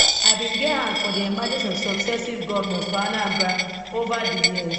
i bin get hand for di emergence of successive govnors for anambra ova di years